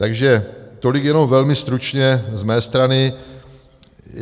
Takže tolik jenom velmi stručně z mé strany.